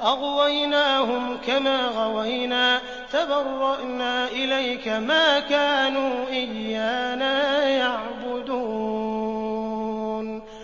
أَغْوَيْنَاهُمْ كَمَا غَوَيْنَا ۖ تَبَرَّأْنَا إِلَيْكَ ۖ مَا كَانُوا إِيَّانَا يَعْبُدُونَ